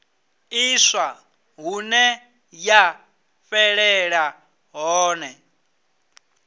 ḽiswa hune ya fhelela hone